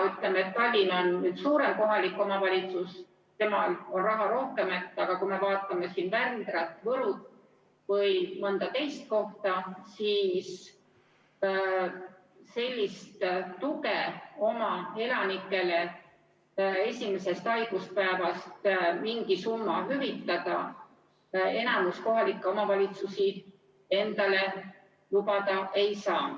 Ütleme, Tallinn on suurem kohalik omavalitsus, temal on raha rohkem, aga kui me vaatame Vändrat või Võru või mõnda teist kohta, siis sellist tuge, et oma elanikele esimesest haiguspäevast mingi summa hüvitada, enamik kohalikke omavalitsusi endale lubada ei saa.